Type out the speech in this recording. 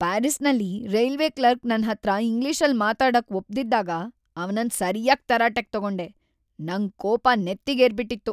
ಪ್ಯಾರಿಸ್ಸಲ್ಲಿ railway clerk ನನ್ಹತ್ರ ಇಂಗ್ಲಿಷಲ್ಲ್ ಮಾತಾಡೋಕ್‌ ಒಪ್ದಿದ್ದಾಗ ಅವ್ನನ್ನ ಸರ್ಯಾಗ್‌ ತರಾಟೆಗ್‌ ತಗೊಂಡೆ, ನಂಗ್‌ ಕೋಪ ನೆತ್ತಿಗೇರ್ಬಿಟಿತ್ತು.